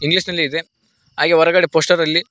English ನಲಿ ಇದೆ ಹಾಗೆ ಹೊರಗಡೆ ಪೋಸ್ಟರ್ ಅಲ್ಲಿ--